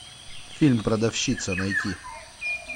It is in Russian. фильм продавщица найти